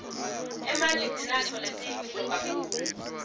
emanti sinatfo lesiyimphilo kakhulu